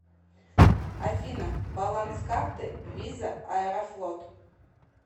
афина баланс карты виза аэрофлот